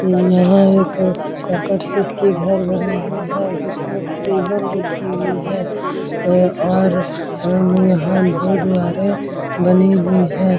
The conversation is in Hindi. यहाँ एक अ करकट शीट की घर बनी हुई है जिसमें सृजल लिखी हुई है ए और यहाँ दो दुवारें बनी हुई है।